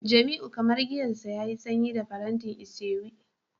jamiu kamar giyar sa yayi sanyi da faranti isewu